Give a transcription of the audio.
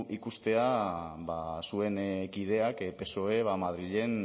ikusteak zuen kideak psoe madrilen